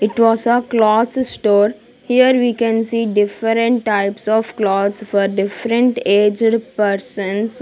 it was ah cloth store here we can see different types of clothes for different aged persons.